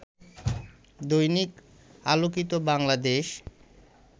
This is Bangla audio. দৈনিক আলোকিত বাংলাদেশ